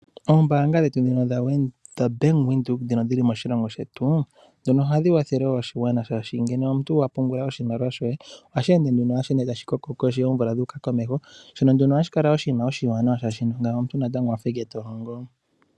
Oombaanga dhetu ndhino dhaBank Windhoek ndhono dhili moshilongo shetu ohadhi kwathele oshigwana, oshoka ngele omuntu a pungula oshimaliwa she ohashi ende tashi koko sho oomvula dhu uka komeho shono hashi kala oshinima oshiwanawa, oshoka natango omuntu owa fa ashike to longo.